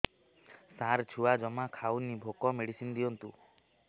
ସାର ଛୁଆ ଜମା ଖାଉନି ଭୋକ ମେଡିସିନ ଦିଅନ୍ତୁ